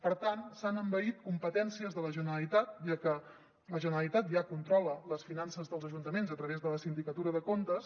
per tant s’han envaït competències de la generalitat ja que la generalitat ja controla les finances dels ajuntaments a través de la sindicatura de comptes